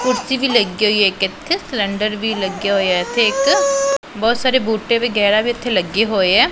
ਕੁਰਸੀ ਵੀ ਲੱਗੀ ਹੋਈ ਐ ਇੱਕ ਇੱਥੇ ਸਿਲੈਂਡਰ ਵੀ ਲੱਗਿਆ ਹੋਏਆ ਐ ਇੱਥੇ ਇੱਕ ਬਹੁਤ ਸਾਰੇ ਬੂਟੇ ਵਗੈਰਾ ਵੀ ਇੱਥੇ ਲੱਗੇ ਹੋਏ ਐ।